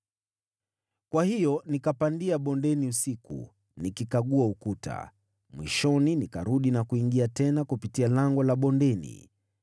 kwa hiyo nikapandia bondeni usiku nikikagua ukuta. Mwishoni nikarudi na kuingia tena kupitia Lango la Bondeni.